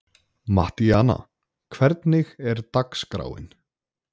Mattíana, hvernig er dagskráin?